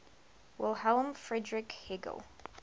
wilhelm friedrich hegel